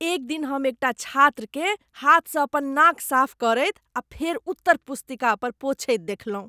एक दिन हम एकटा छात्रकेँ हाथसँ अपन नाक साफ करैत आ फेर उत्तर पुस्तिका पर पोंछैत देखलहुँ।